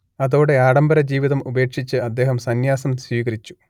അതോടെ ആഢംബരജീവിതം ഉപേക്ഷിച്ച് അദ്ദേഹം സന്യാസം സ്വീകരിച്ചു